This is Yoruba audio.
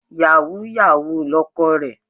Yàwúú-yawuù lọkọ rẹ̀.